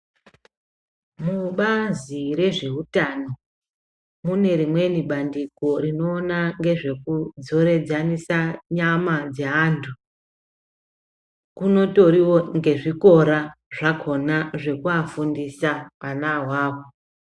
Mubazi rezveutano mune rimweni bandiko rinoona ngezvekudzoredzanisa nyama dzeantu kunotorinewo nezvikora zvakona zvekuvafundisa vanavavo .